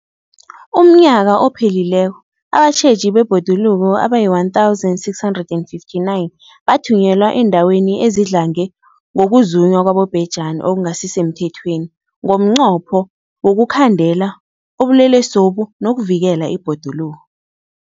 UmNnyaka ophelileko abatjheji bebhoduluko abayi-1 659 bathunyelwa eendaweni ezidlange ngokuzunywa kwabobhejani okungasi semthethweni ngomnqopho wokuyokukhandela ubulelesobu nokuvikela ibhoduluko.